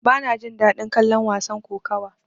Bana jin daɗin kallon wasan kokawa.